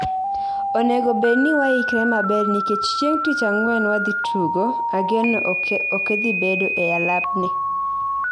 onego bedni waikre maber nikech chieng tich angwen wadhi tugo, ageno okethibedo e alapni